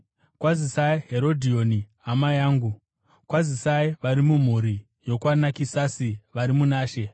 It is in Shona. Kwazisai Herodhioni, hama yangu. Kwazisai vari mumhuri yokwaNakisasi vari muna She.